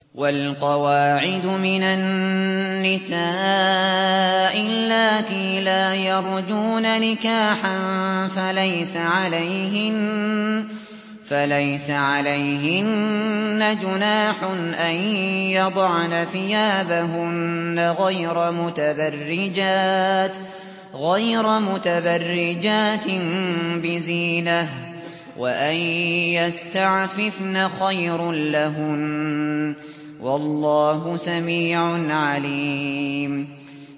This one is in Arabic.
وَالْقَوَاعِدُ مِنَ النِّسَاءِ اللَّاتِي لَا يَرْجُونَ نِكَاحًا فَلَيْسَ عَلَيْهِنَّ جُنَاحٌ أَن يَضَعْنَ ثِيَابَهُنَّ غَيْرَ مُتَبَرِّجَاتٍ بِزِينَةٍ ۖ وَأَن يَسْتَعْفِفْنَ خَيْرٌ لَّهُنَّ ۗ وَاللَّهُ سَمِيعٌ عَلِيمٌ